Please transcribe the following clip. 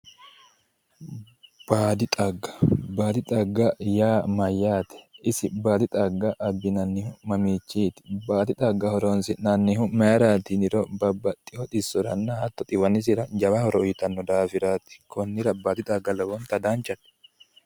baadi xagga baadi xagga yaa mayyaate isi baadi xagga abbinannihu mamiichinniiti baadi xagga horonsi'nannihu isi mayiiraati yiniro babbaxitino xisoranna hatto xiwanisira jawa horo uyiitanno daafiraati konni daafo baadi xagga lowonta danchate.